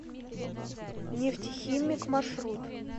нефтехимик маршрут